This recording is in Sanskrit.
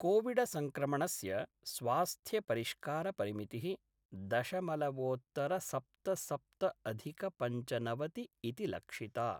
कोविडसंक्रमणस्य स्वास्थ्यपरिष्कारपरिमितिः दशमलवोत्तरसप्तसप्तअधिकपंचनवति इति लक्षिता।